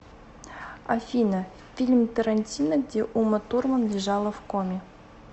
афина фильм торантино где уматурман лежала в коме